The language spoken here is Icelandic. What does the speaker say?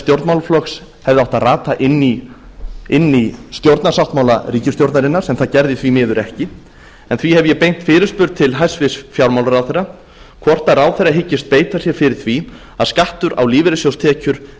stjórnmálaflokks hefði átt að rata inn í stjórnarsáttmála ríkisstjórnarinnar sem það gerði því miður ekki en því hef ég beint fyrirspurn til hæstvirts fjármálaráðherra hvort ráðherra hyggist beita sér fyrir því að skattur á lífeyrissjóðstekjur